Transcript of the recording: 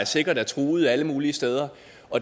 sikkert er truet alle mulige steder